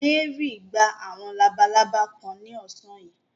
Mary gba àwọn labalábá kan ní ọ̀sán yìí.